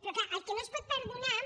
però clar el que no es pot perdonar